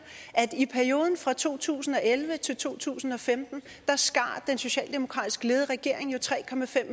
at i perioden fra to tusind og elleve til to tusind og femten skar den socialdemokratisk ledede regering tre